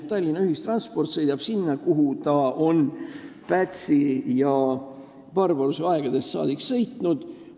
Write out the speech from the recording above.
Tallinna ühissõidukid sõidavad sinna, kuhu nad on Pätsi ja Barbaruse aegadest saadik sõitnud.